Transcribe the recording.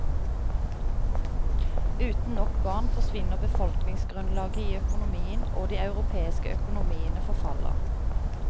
Uten nok barn forsvinner befolkningsgrunnlaget i økonomien, og de europeiske økonomiene forfaller.